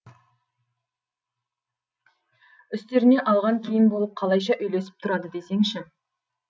үстеріне алған киім болып қалайша үйлесіп тұрады десеңші